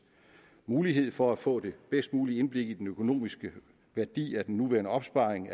mulighed for at få det bedst mulige indblik i den økonomiske værdi af den nuværende opsparing